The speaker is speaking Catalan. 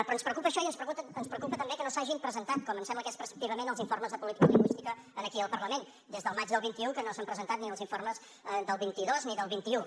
però ens preocupa això i ens preocupa també que no s’hagin presentat com ens sembla que és preceptivament els informes de política lingüística aquí al parlament des del maig del vint un que no s’han presentat ni els informes del vint dos ni del vint un